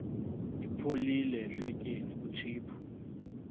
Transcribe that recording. ipholile ehlotyeni kutshiphu